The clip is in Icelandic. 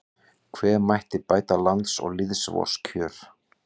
Hve mætti bæta lands og lýðs vors kjör